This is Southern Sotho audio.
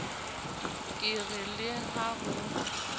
ke re le ha ho